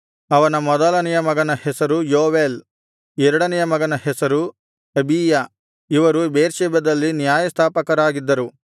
ಅವನ ಮೊದಲನೆಯ ಮಗನ ಹೆಸರು ಯೋವೇಲ್ ಎರಡನೆಯ ಮಗನ ಹೆಸರು ಅಬೀಯ ಇವರು ಬೇರ್ಷೆಬದಲ್ಲಿ ನ್ಯಾಯಸ್ಥಾಪಕರಾಗಿದ್ದರು